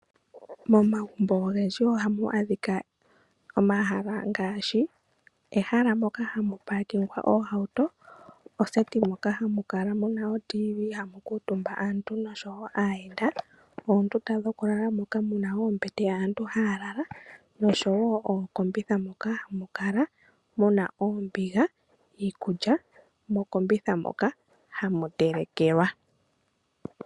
Momagumbo ogendji ohamu adhika omahala ngaashi ehala moka hamu paakingwa oohauto, oseti moka hamu kala mu na otiivii nohamu kuutumba aantu nosho wo aayenda, oondunda dhokulala moka mu na oombete moka aantu haya lala nosho wo ookombitha moka hamu kala mu na oombiga niikulya. Mokombitha moka hamu telekelwa.